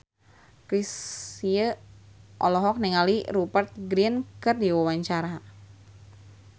Chrisye olohok ningali Rupert Grin keur diwawancara